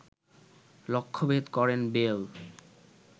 লক্ষ্যভেদ করেন বেল